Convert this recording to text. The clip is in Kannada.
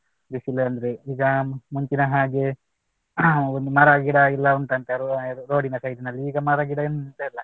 ಬಿಸಿಲಂದ್ರೆ ಈಗ ಮುಂಚಿನ ಹಾಗೆ ಒಂದು ಮರ ಗಿಡ ಎಲ್ಲ ಉಂಟಂತೆ road ಡಿನ side ನಲ್ಲಿ ಈಗ ಮರ ಗಿಡ ಎಂತ ಇಲ್ಲ